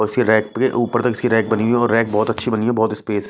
उसके रैक के ऊपर तक इसकी रैक बनी हुई है और रैक बहुत अच्छी बनी है बहुत स्पेस --